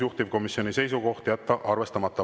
Juhtivkomisjoni seisukoht on jätta arvestamata.